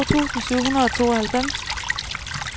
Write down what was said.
to tusind syv hundrede og tooghalvfems